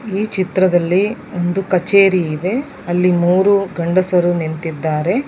ಈ ಚಿತ್ರದಲ್ಲಿ ಒಂದು ಕಚೇರಿ ಇದೆ ಅಲ್ಲಿ ಮೂರು ಗಂಡಸರು ನಿಂತಿದ್ದಾರೆ .